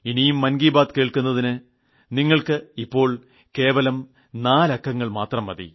ഇനിയും മൻ കി ബാത്ത് കേൾക്കുന്നതിന് നിങ്ങൾക്ക് ഇപ്പോൾ കേവലം നാലക്കങ്ങൾ മാത്രം മതി